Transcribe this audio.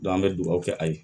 an bɛ dugawu kɛ a ye